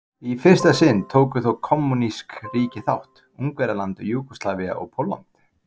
Í fyrsta sinn tóku þó kommúnísk ríki þátt: Ungverjaland, Júgóslavía og Pólland.